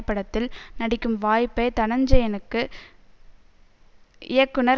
படத்தில் நடிக்கும் வாய்ப்பை தனஞ்செயனுக்கு இயக்குனர்